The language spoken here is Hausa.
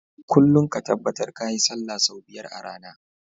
Kullun ka tabbar kayi sallah sau biyar a rAna